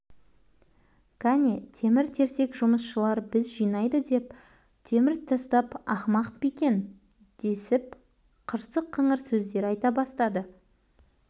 кәне темір-терсек жұмысшылар біз жинайды деп темір тастап ақымақ па екен десіп қырсық-қыңыр сөздер айта бастады